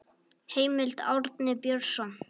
Heimild: Árni Björnsson.